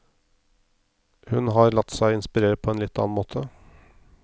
Hun har latt seg inspirere på en litt annen måte.